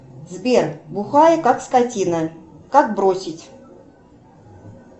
сбер бухаю как скотина как бросить